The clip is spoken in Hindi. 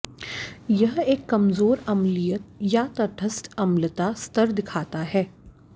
यह एक कमजोर अम्लीय या तटस्थ अम्लता स्तर दिखाता है